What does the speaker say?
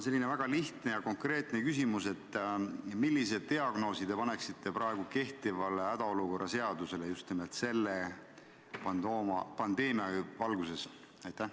Mul on väga lihtne ja konkreetne küsimus: millise diagnoosi te paneksite praegu kehtivale hädaolukorra seadusele just selle pandeemia valguses?